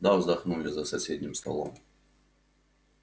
да вздохнули за соседним столом